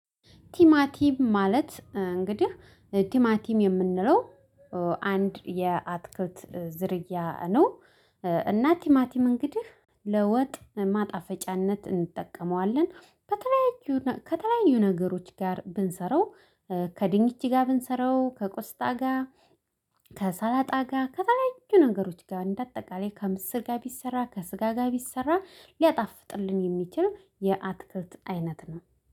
ቲማቲም ማለት እንግዲህ ቲማቲም የምንለው አንድ የአትክልት ዝርያ ነው። እና ቲማቲም እንግዲህ ለወጥ ማጣፈጫነት እንጠቀመዋለን ከተለያዩ ከተለያዩ ነገሮች ጋር ብንሰራው። ከድንች ጋር ብንሰራው ከቆስጣ ከሰላጣ ጋር ከተለያዩ ነገሮች ጋር እንደ አጠቃላይ ከምስር ጋር ቢሰራ ከስጋ ጋር ቢሰራ ሊያጣፍጥልን የሚችል የአትክልት አይነት ነው